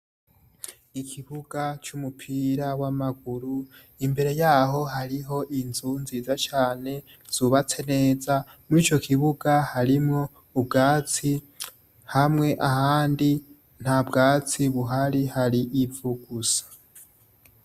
Ikibuga c'umupira w'amaguru, imbere yaho hariho inzu nziza cane, zubatse neza, mw'ico kibuga harimwo ubwatsi, hamwe ahandi nta bwatsi buhari hari ivu gusa.